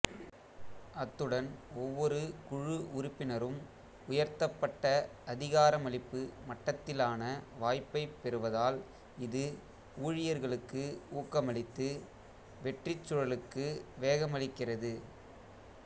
அத்துடன் ஒவ்வொரு குழு உறுப்பினரும் உயர்த்தப்பட்ட அதிகாரமளிப்பு மட்டத்திலான வாய்ப்பை பெறுவதால் இது ஊழியர்களுக்கு ஊக்கமளித்து வெற்றிச் சுழலுக்கு வேகமளிக்கிறது